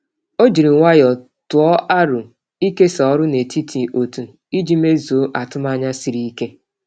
Ọ jiri nwayọọ tụọ aro ịkesa ọrụ n’etiti otu iji mezuo atụmanya siri ike.